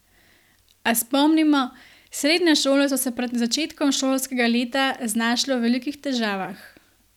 A, spomnimo, srednje šole so se pred začetkom šolskega leta znašle v velikih težavah.